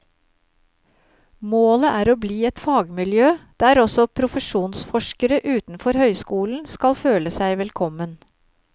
Målet er å bli et fagmiljø der også profesjonsforskere utenfor høyskolen skal føle seg velkommen.